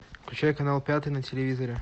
включай канал пятый на телевизоре